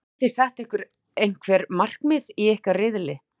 Hafiði sett ykkur einhver markmið í ykkar riðli?